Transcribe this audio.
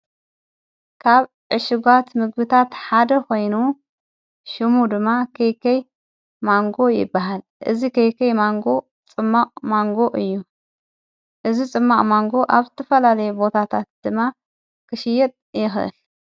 ካብ ዕሽጓት ምግብታት ሓደ ኾይኑ ሹሙ ድማ ከይከይ ማንጎ ይበሃል እዝ ከይከይ ማንጎ ጽማዕ ማንጎ እዩ እዝ ጽመዕ ማንጎ ኣብ ቲፈላለየ ቦታታት ድማ ክሽየጥ የኽእል::